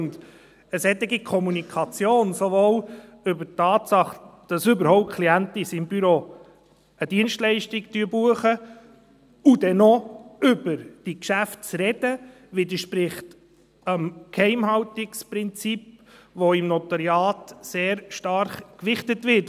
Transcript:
Eine solche Kommunikation, sowohl über die Tatsache, dass überhaupt Klienten in seinem Büro eine Dienstleistung buchen, und dann noch über diese Geschäfte zu sprechen, widerspricht dem Geheimhaltungsprinzip, das im Notariat sehr stark gewichtet wird.